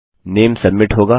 नामे submit होगा